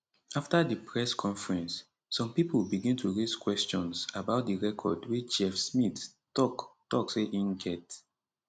afta di press conference some pipo begin to raise questions about di record wey chef smith tok tok say im get